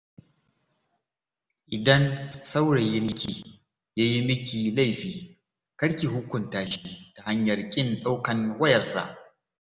Idan saurayinki ya yi miki laifi, kar ki hukunta shi ta hanyar ƙin ɗaukan wayarsa.